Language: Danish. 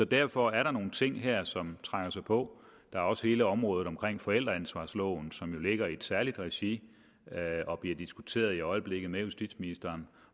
derfor er der nogle ting her som trænger sig på der er også hele området omkring forældreansvarsloven som jo ligger i et særligt regi og bliver diskuteret i øjeblikket med justitsministeren